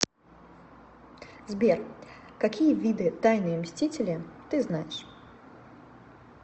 сбер какие виды тайные мстители ты знаешь